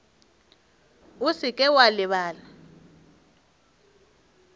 o se ke wa lebala